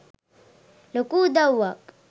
ලොකු උදව්වක් .